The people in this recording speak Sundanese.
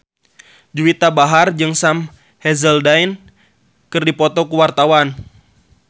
Juwita Bahar jeung Sam Hazeldine keur dipoto ku wartawan